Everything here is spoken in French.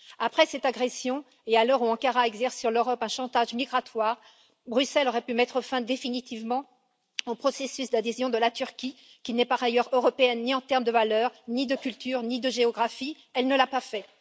Après cette agression, et à l'heure où Ankara exerce sur l'Europe un chantage migratoire, Bruxelles aurait pu mettre fin définitivement au processus d'adhésion de la Turquie, qui n'est par ailleurs européenne en termes ni de valeur, ni de culture ni de géographie, mais elle ne l'a pas fait.